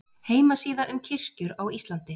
Heimasíða um kirkjur á Íslandi